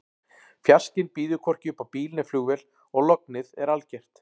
Fjarskinn býður hvorki upp á bíl né flugvél og lognið er algert.